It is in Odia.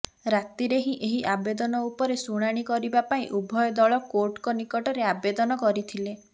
ରାତିରେ ହିଁ ଏହି ଆବେଦନ ଉପରେ ଶୁଣାଣି କରିବା ପାଇଁ ଉଭୟ ଦଳ କୋର୍ଟଙ୍କ ନିକଟରେ ଆବେଦନ କରିଥିଲେ